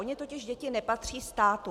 Ony totiž děti nepatří státu.